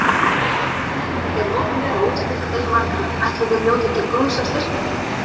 Nú voru tíðindi gerð opinber á útskriftardegi margra, ætli þeir njóti góðs af styrkinum?